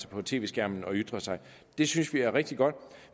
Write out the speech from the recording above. på tv skærmen og ytrer sig det synes vi er rigtig godt